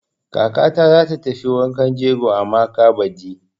Kakata za ta tafi wankan jegon Amaka baɗi.